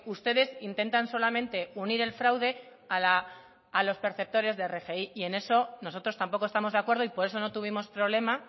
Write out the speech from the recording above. ustedes intentan solamente unir el fraude a los perceptores de rgi y en eso nosotros tampoco estamos de acuerdo y por eso no tuvimos problema